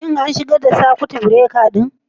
Shin an shigar da sakut birekar ɗin?